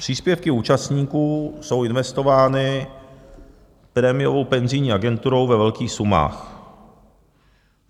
Příspěvky účastníků jsou investovány prémiovou penzijní agenturou ve velkých sumách.